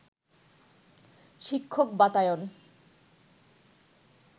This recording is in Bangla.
শিক্ষক বাতায়ন